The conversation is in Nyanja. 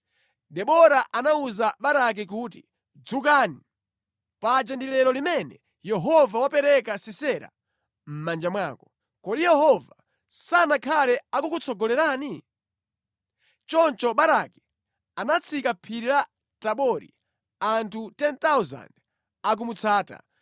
Debora anawuza Baraki kuti, “Dzukani! Paja ndi lero limene Yehova wapereka Sisera mʼmanja mwako. Kodi Yehova sanakhale akukutsogolerani?” Choncho Baraki anatsika phiri la Tabori, anthu 10,000 akumutsata.